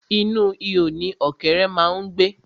Inú ihò ni ọ̀kẹ́ré má ń gbé.